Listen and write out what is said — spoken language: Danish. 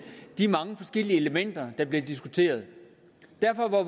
de mange forskellige elementer der bliver diskuteret derfor var